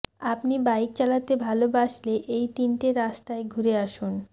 আপনি বাইক চালাতে ভালবাসলে এই তিনটে রাস্তায় ঘুরে আসুন